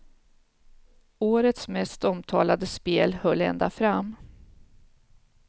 Årets mest omtalade spel höll ända fram.